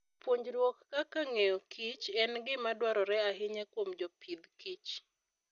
Puonjruok kaka ng'eyo Kich en gima dwarore ahinya kuom jopith kich.